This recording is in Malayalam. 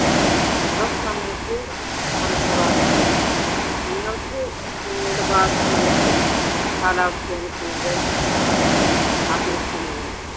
സുഖം നമുക്ക് തണുപ്പ് കാലം തന്നെയാണ്. നിങ്ങക്ക് നിങ്ങടെ ഭാഗത്ത് നിങ്ങക്ക് ഏതു കാലാവസ്ഥയാണ് കൂടുതൽ ആഗ്രഹിക്കുന്നത്?